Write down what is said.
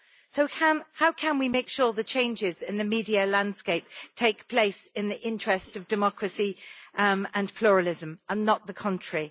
So how can we make sure the changes in the media landscape take place in the interest of democracy and pluralism, and not the contrary?